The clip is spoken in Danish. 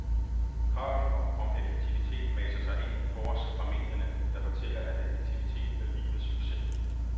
Kravet om effektivitet maser sig ind på os fra medierne, der fortæller at effektivitet er lige med succes.